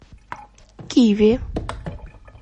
киви